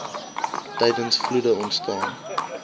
tydens vloede ontstaan